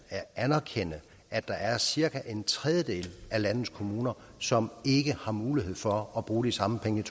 erkende at der er cirka en tredjedel af landets kommuner som ikke har mulighed for at bruge de samme penge